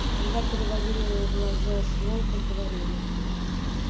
когда переводили глаза с волка говорили